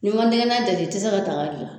N'i ma nɛgɛnan deli i tɛ se ka daga gilan